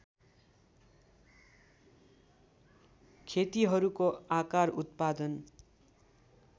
खेतीहरूको आकार उत्पादन